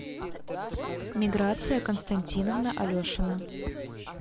миграция константиновна алешина